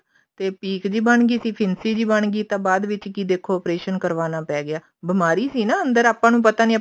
ਤੇ ਪੀਕ ਜੀ ਬਣਗੀ ਸੀ ਫਿਨਸੀ ਜੀ ਬਣਗੀ ਬਾਅਦ ਵਿੱਚ ਦੇਖੋ ਕਿ operation ਕਰਵਾਉਣਾ ਪੇ ਗਿਆ ਬਿਮਾਰੀ ਸੀ ਨਾ ਅੰਦਰ ਆਪਾਂ ਨੂੰ ਪਤਾ ਨੀ